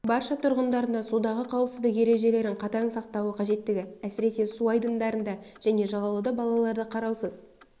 барша тұрғындарына судағы қауіпсіздік ережелерін қатаң сақтауы қажеттігі әсіресе су айдындарында және жағалауда балаларды қараусыз